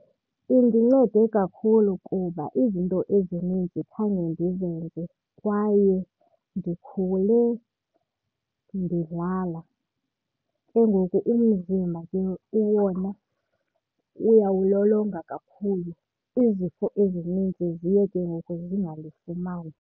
Indincede kakhulu kuba izinto ezininzi khange ndizenze kwaye ndikhule ndidlala. Ke ngoku umzimba ke wona uyawulolonga kakhulu. Izifo ezininzi ziye ke ngoku zingandifumani.